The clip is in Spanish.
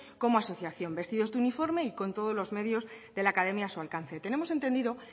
como asociación vestidos de uniforme y con todos los medios de la academia a su alcance tenemos entendido